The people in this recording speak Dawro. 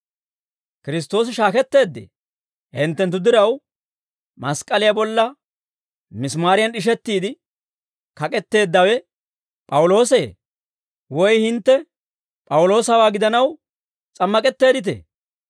Kiristtoosi shaaketteeddee? Hinttenttu diraw, mask'k'aliyaa bolla misimaariyan d'ishettiide kak'etteeddawe P'awuloosi? Woy hintte P'awuloosaw gidanaw s'ammak'etteedditee?